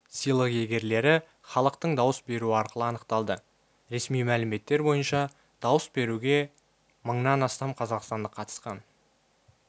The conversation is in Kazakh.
сыйлық иегерлері іалықтың дауыс беруі арқылы анықталды ресми мәліметтер бойынша дауыс беруге мыңнан астам қазақстандық қатысқан